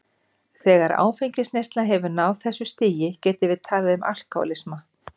Þegar áfengisneysla hefur náð þessu stigi getum við talað um alkohólisma.